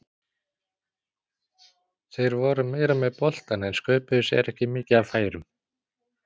Þeir voru meira með boltann en sköpuðu sér ekki mikið af færum.